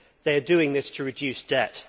They are doing this to reduce debt.